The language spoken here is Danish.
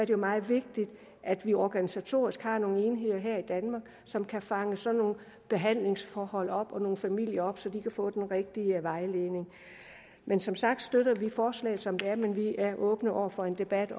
jo meget vigtigt at vi organisatorisk har nogle enheder her i danmark som kan fange sådan nogle behandlingsforhold og nogle familier op så de kan få den rigtige vejledning men som sagt støtter vi forslaget som det er men vi er åbne over for en debat